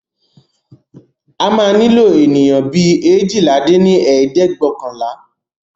A máa nílò ènìyàn bí eéjìlá dín ní ẹ̀ẹ́dẹ́gbẹ́ọ̀kànlá!